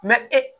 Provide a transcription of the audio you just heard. ee